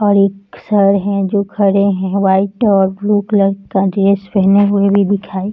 और एक सर है जो खड़े है वाइट और ब्लू कलर का ड्रेस पहने हुए भी दिखाई --